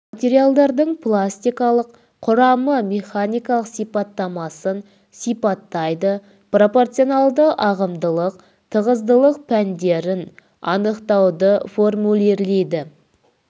материалдардың пластикалық құрамын механикалық сипаттамасын сипаттайды пропорционалды ағымдылық тығыздылық пәндерін анықтауды формулирлейді